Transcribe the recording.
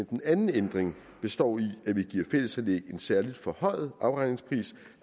den anden ændring består i at vi giver fællesanlæg en særlig forhøjet afregningspris